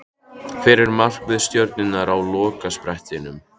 Hvert er markmið Stjörnunnar á lokasprettinum?